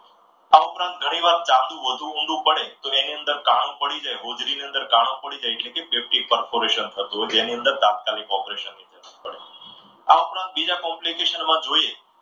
આ ઉપરાંત ઘણીવાર ચાંદૂ ઘણુ ઊંડું પડે તો તેની અંદર કાણું પડી જાય, હોજરી ની અંદર કાણું પડી જાય. એટલે કે કોર્પોરેશન થતું હોય બેની અંદર તાત્કાલિક operation ની જરૂર પડે. આ ઉપરાંત બીજા complication માં જોઈએ.